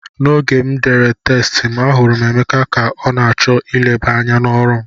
N'oge m dere test m, ahụrụ m Emeka ka ọ na-achọ ileba anya n'ọrụ m